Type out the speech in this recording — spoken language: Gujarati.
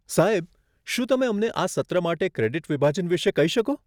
સાહેબ, શું તમે અમને આ સત્ર માટે ક્રેડીટ વિભાજન વિશે કહી શકો?